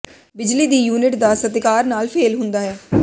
ਬਿਜਲੀ ਦੀ ਯੂਨਿਟ ਦਾ ਸਤਿਕਾਰ ਨਾਲ ਫੇਲ ਹੁੰਦਾ ਹੈ